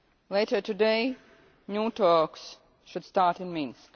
Later today, new talks should start in Minsk.